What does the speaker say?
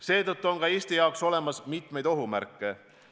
Seetõttu on ka Eesti jaoks olemas mitmeid ohumärke.